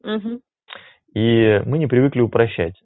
угу и мы не привыкли упрощать